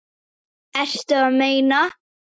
Ertu að meina.?